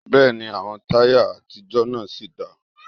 Bẹ́ẹ̀ni, àwọn táyà àtijọ́ náà sì dáa